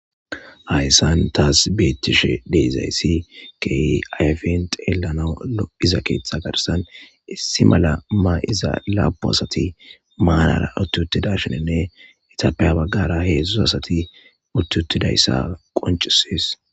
Hayissan tasi betishshe de'izayiss kehi ayifes xelanawu lo'iza keththa garissanni issi mala ma'izza lapunn asati marara utti uttidashshenne etappe ha bagara hezhzhu asati utti utyidayissa qonccisses.